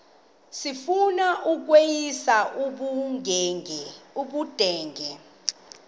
sifuna ukweyis ubudenge